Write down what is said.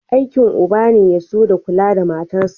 Aikin uba ne ya so da kula da matarsa.